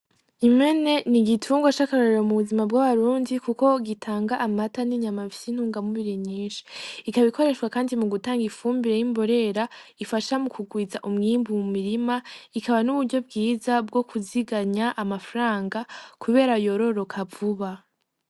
Impene n'igitungwa c'akarorero mu buzima bw'abarundi kuko gitanga amata n'inyama bifise intungamubiri nyinshi, ikaba ikoreshwa kandi mu gutanga ifumbire y'imborera ifasha mu kugwiza umwimbu mu mirima, ikaba n'uburyo bwiza bwo kuziganya amafaranga kubera yororoka vuba.